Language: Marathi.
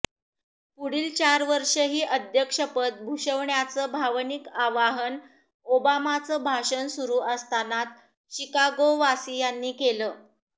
पुढील चार वर्षही अध्यक्षपद भूषवण्याचं भावनिक आवाहन ओबामांचं भाषण सुरु असतानाच शिकागोवासियांनी केलं